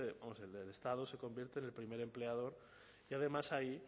vamos el estado se convierte en el primer empleador y además ahí